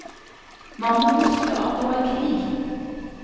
Man må huske at det var krig.